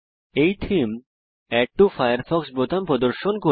এই theme add to Firefox বোতাম প্রদর্শন করে